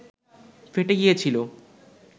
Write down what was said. ফেটে গিয়েছিল